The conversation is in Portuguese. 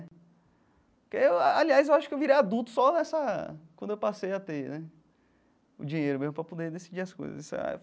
Que aliás, eu acho que eu virei adulto só nessa quando eu passei a ter né o dinheiro meu para poder decidir as coisas.